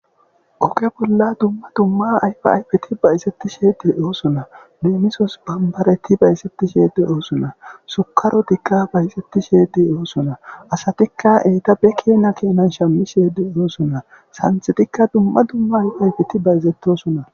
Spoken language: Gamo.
Ogge bolla duma duma ayifa ayfeti bayizetishe de'ossona lemmisos bambareti bayizetishe de'ossona sukkarotika bayizetishe de'ossona asatika entappe kena kena shammishe de'ossona sanththetika duma duma ayfa ayiffeti bayizetossona.